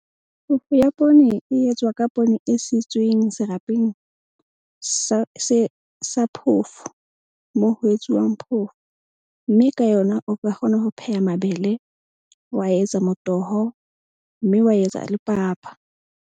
Phofo ya poone e etswa ka poone e sitweng serapeng sa phofo moo ho etsuwang phofo. Mme ka yona o ka kgona ho pheha mabele, wa etsa motoho mme wa etsa le papa.